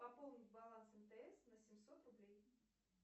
пополнить баланс мтс на семьсот рублей